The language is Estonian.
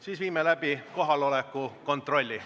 Siis viime läbi kohaloleku kontrolli.